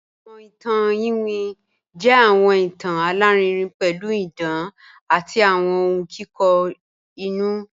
Awọn ìtàn ìwín jẹ́ awọn ìtàn alárìírìn pẹ̀lú ìdán àti awọn ọ̀hun kikọ inú